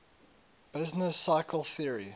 business cycle theory